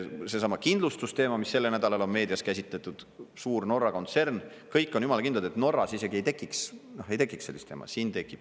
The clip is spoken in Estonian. Seesama kindlustusteema, mida sellel nädalal on meedias käsitletud – suur Norra kontsern, kõik on jumala kindlad, et Norras isegi ei tekiks sellist jama, siin tekib.